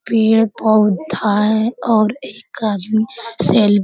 पेड़-पौधा है और एक आदमी सेल --